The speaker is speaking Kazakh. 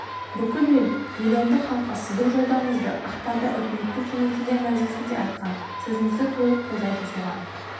бүкіл ел милиондық халқы сіздің жолдауыңызды ақпанда үкіметтің кеңейтілген мәжілісінде айтқан сөзіңізді толық қолдайды соған